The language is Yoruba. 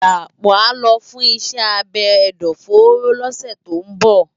Dapo á lò fùn iṣè ábé ẹdọfóró lòsè tó n bò